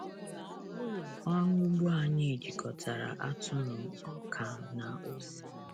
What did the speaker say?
Ụlọ ọrụ ugbo anyị jikọtara atụrụ, ọka, na ose.